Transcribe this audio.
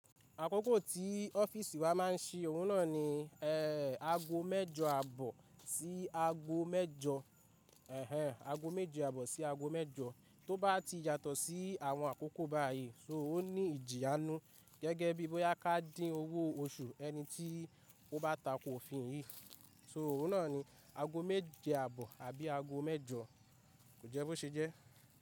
Àkókò tí ọ́fíìsì wa máa ń ṣi òun náà ni e, ago mẹ́jọ àbọ̀ sí ago mẹ́jọ. Ẹ̀hẹn, ago méje àbọ̀ sí ago mẹ́jọ. Tó bá ti yàtọ̀ sí àwọn àkókò báyìí, só ní ìjìyà ninu gẹ́gẹ́ bí bóyá ká dín owó oṣù ẹni tí ó bá tako òfin yìí. So òun náà ni ago méje àbọ̀ àbí ago mẹ́jọ, kò jẹ́ bó ṣe jẹ́.